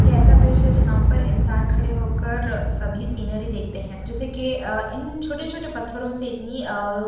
यह ऐसा ब्रिज है जहाँ पर इंसान खड़े होकर अ सभी सीनरी देखते हैं जैसे कि अ इन छोटे-छोटे पत्थरों से इतनी अ --